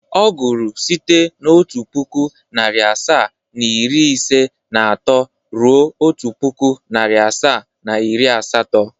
Ọ gụrụ site n'otu pụkụ, narị asaa, iri ise na atọ ruo otu pụkụ, narị asaa, na iri asatọ.